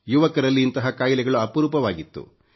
ಯುವಕರಲ್ಲಿ ಇಂತಹ ಖಾಯಿಲೆಗಳು ಅಪರೂಪವಾಗಿತ್ತು